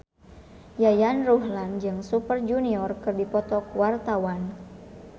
Yayan Ruhlan jeung Super Junior keur dipoto ku wartawan